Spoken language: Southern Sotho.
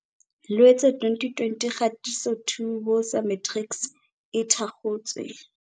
Loetse 2020 Kgatiso 2Woza Matrics e thakgotswe.